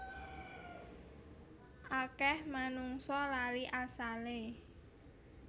Akeh manungsa lali asale